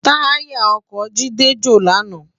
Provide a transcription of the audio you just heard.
Tàyá òkò Jide jó làná